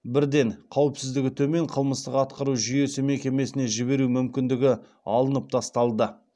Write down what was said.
бірден қауіпсіздігі төмен қылмыстық атқару жүйесі мекемесіне жіберу мүмкіндігі алынып тасталды